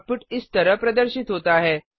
output इस तरह प्रदर्शित होता है